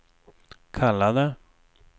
kallade